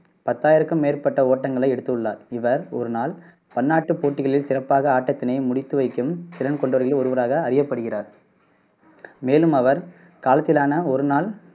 பத்தாயிரக்கும் மேற்பட்ட ஓட்டங்களை எடுத்துள்ளார் இவர் ஒரு நாள் பன்னாட்டுப் போட்டிகளில் சிறப்பாக ஆட்டத்தினை முடித்துவைக்கும் திறன் கொண்டவர்களில் ஒருவராக அறியப்படுகிறார் மேலும் அவர் காலத்திலான ஒரு நாள்